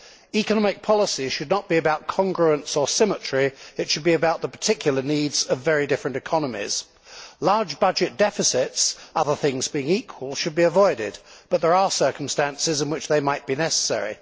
Economic policy should not be about congruence or symmetry it should be about the particular needs of very different economies. Large budget deficits, other things being equal, should be avoided but there are circumstances in which they might be necessary.